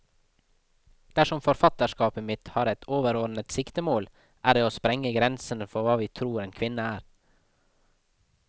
Dersom forfatterskapet mitt har ett overordnet siktemål, er det å sprenge grensene for hva vi tror en kvinne er.